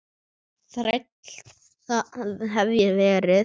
Þræll, það hef ég verið.